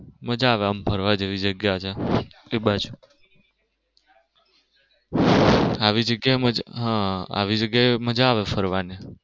મજા આવે એમ ફરવા જેવી જગ્યા છે એ બાજુ આવી જગ્યા મજા હા આવી જગ્યા મજા આવે ફરવની.